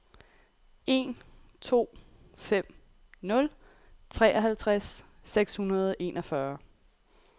en to fem nul treoghalvtreds seks hundrede og enogfyrre